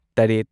ꯇꯔꯦꯠ